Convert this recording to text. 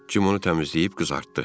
Jim onu təmizləyib qızartdı.